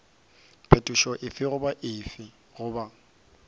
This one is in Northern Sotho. phetošo efe goba efe goba